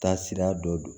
Taasira dɔ don